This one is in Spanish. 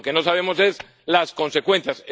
lo que no sabemos son las consecuencias.